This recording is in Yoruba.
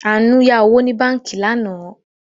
Àánú yá owó ní báànkì lánàá